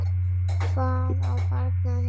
Hvað á barnið að heita?